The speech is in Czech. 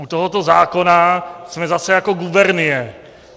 U tohoto zákona jsme zase jako gubernie.